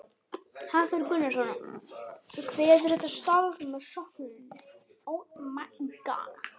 Hafþór Gunnarsson: Kveðurðu þetta starf með söknuði?